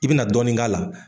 I bina dɔɔnin k'a la.